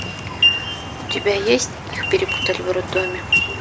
у тебя есть их перепутали в роддоме